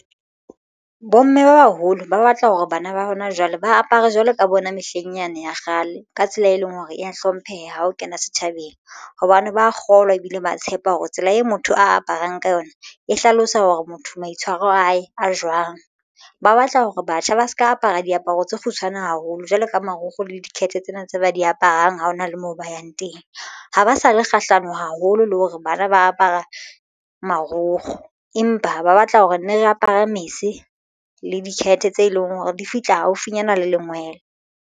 Bomme ba baholo ba batla hore bana ba hona jwale ba apare jwalo ka bona mehleng yane ya kgale ka tsela e leng hore e ya hlompheha ha o kena setjhabeng hobane ba kgolwa ebile ba tshepa hore tsela e motho a aparang ka yona e hlalosa hore motho maitshwaro a hae a jwang. Ba batla hore batjha ba se ka apara diaparo tse kgutshwane haholo jwalo ka marokgo le di-skirt tsena tse ba di aparang ha hona le moo ba yang teng ha ba sa le kgahlano haholo le hore bana ba apara marukgwe empa ha ba batla ho re nne re apara mese le di-skirt tse leng hore di fihla haufinyana le lengwele.